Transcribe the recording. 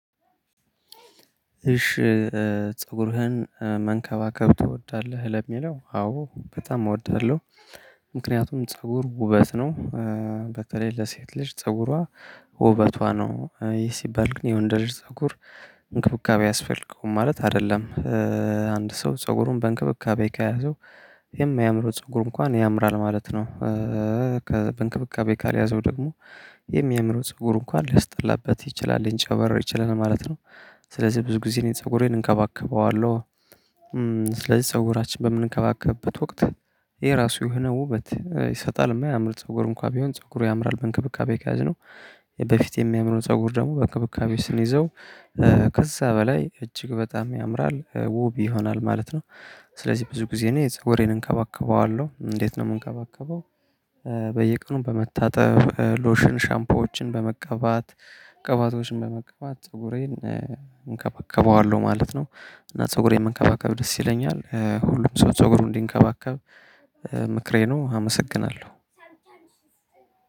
እሺ? ፀጉርህን መንከባከብ ትወዳለህ ለሚለው አዎ በጣም እወዳለሁ። ምክንያቱም ፀጉር ውበት ነው። በተለይ ለሴት ልጅ ፀጉሯ ውበቷ ነው ይሄ ሲባል ግን የወንድ ልጅ ፀጉር እንክብካቤ አያስፈልገውም ማለት አይደለም። አንድ ሰው ፀጉሩን በእንክብካቤ ከያዘው የማያምረው ፀጉሩ እንኳን ያምራል ማለት ነው። በእንክብካቤ ካልያዘው ደግሞ የሚያምረው ፀጉር እንኳን ሊያስጠላበት ይችላል ሊንጨበረር ይችላል ማለት ነው። ስለዚህ ብዙ ጊዜ እኔ ፀጉሬን እንከባከበዋለሁ። ስለዚህ ፀጉራችን በምንከባከብበት ወቅት የራሱ የሆነ ውበት ይሰጣል የማያምር ፀጉር እንኳን ቢሆን ፀጉሩ ያምራል በእንክብካቤ ካያዝነው። በፊት የሚያምረው ፀጉር ደግሞ በክብካቤ ስንይዘው ከዛ በላይ እጅግ በጣም ያምራል ውብ ይሆናል ማለት ነው። ስለዚህ ብዙ ጊዜ እኔ ፀጉሬን እንከባከበዋለሁ እንዴት ነው የምንከባከበው? በየቀኑ በመታጠብ ሎሽን ሻምፖዎችን በመቀባት ቅባቶችን በመቀባት ፀጉሬን ማለት ነው። እና ፀጉሬን መንከባከብ ደስ ይለኛል ሁሉም ሰው ፀጉሩን እንዲንከባከብ ምክሬ ነው አመሰግናለሁ።